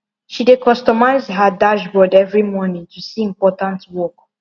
she dey customize her dashboard every morning to see important work